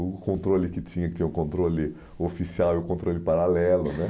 O controle que tinha, que tinha o controle o oficial e o controle paralelo, né?